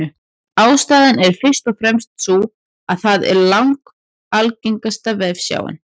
Ástæðan er fyrst og fremst sú að það er langalgengasta vefsjáin.